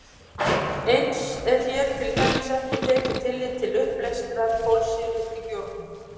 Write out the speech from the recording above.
Eins er hér til dæmis ekki tekið tillit til uppleystrar kolsýru í bjórnum.